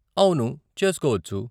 అవును, చేసుకోవచ్చు .